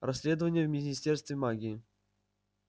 расследование в министерстве магии